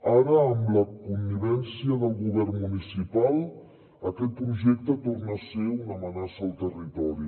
ara amb la connivència del govern municipal aquest projecte torna a ser una amenaça al territori